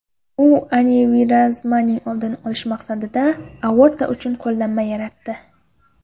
U anevrizmaning oldini olish maqsadida aorta uchun qoplama yaratdi.